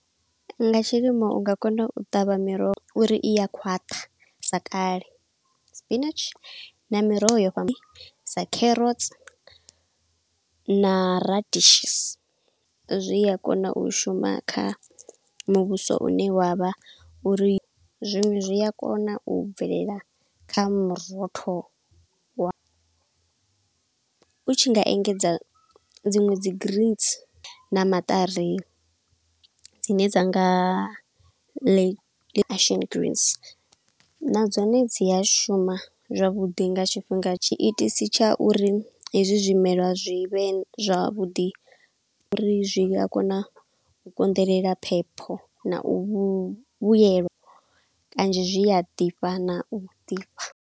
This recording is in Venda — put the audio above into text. Nga tshilimo nga kona u ṱavha miroho uri iya khwaṱha sa kale. Spinatshi na miroho yo fhamba, sa kherotsi, na radishes, zwi a kona u shuma kha muvhuso une wavha uri zwinwe zwi a kona u bvelela kha murotholo wa, u tshi nga engedza dziṅwe dzi green na maṱari dzine dza nga action greens, na dzone dzi a shuma zwavhuḓi nga tshifhinga. Tshiitisi tsha uri hezwi zwimelwa zwi vhe zwavhuḓi, uri zwi a kona u konḓelela phepho, na u vhuyelwa kanzhi zwi a ḓifha na u ḓifha.